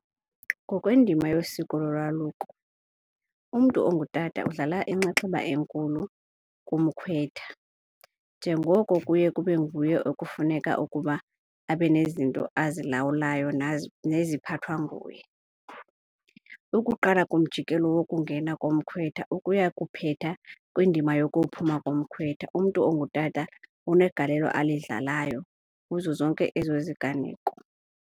Ngokwendima yosiko lolwaluko umntu ongutata udlala inxaxheba enkulu kumkhwetha njengoko kuye kube nguye okufuneka ukuba abe nezinto azilawulayo neziphathwa nguye. Ukuqala kumjikelo wokungena komkhwetha ukuya kuphetha kwindima yokuphuma komkhwetha, umntu ongutata unegalelo alidlalayo kuzo zonke ezo ziganeko.